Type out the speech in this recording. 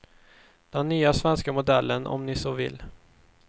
Den nya svenska modellen om ni så vill.